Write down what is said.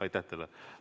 Aitäh teile!